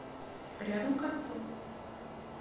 рядом кольцо